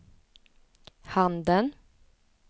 handen